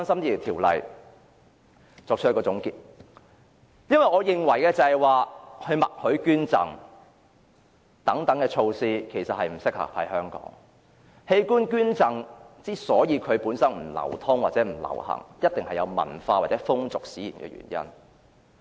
讓我作出總結，因為我認為"默許捐贈"等措施不適合香港，而器官捐贈之所以不流行，必定基於文化或風俗的原因。